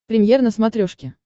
премьер на смотрешке